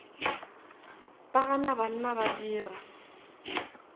ba gana banna ba dira